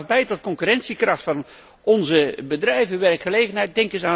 Het draagt bij tot concurrentiekracht van onze bedrijven, tot de werkgelegenheid.